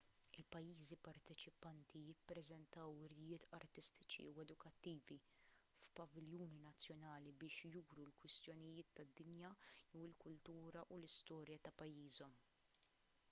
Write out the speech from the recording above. il-pajjiżi parteċipanti jippreżentaw wirjiet artistiċi u edukattivi f'paviljuni nazzjonali biex juru kwistjonijiet tad-dinja jew il-kultura u l-istorja ta' pajjiżhom